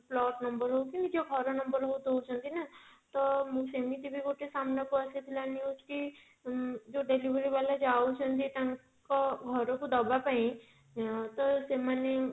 plot number ହଉ କି ନିଜ ଘର number ହଉ ଦଉଛନ୍ତି ନା ତ ମୁଁ ସେମିତି ବି ଗୋଟେ ସାମ୍ନା କୁ ଆସିଥିଲା ଗୋଟେ news କି ଉଁ ଯଉ delivery ବାଲା ଯାଉଛନ୍ତି ତାଙ୍କ ଘରକୁ ଦବା ପାଇଁ ଅ ତ ସେମାନେ